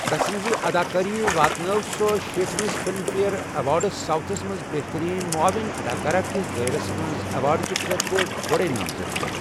تسٕنٛزِ اداکٲری واتنٲو سۅ شیٹھ مِس فلم فیئر ایوارڈز ساؤتھس منٛز بہترین معاون اداکارہ کِس دٲیرس منٛز ایوارڈ کہِ خٲطرٕ گۅڈے نامزدگی ۔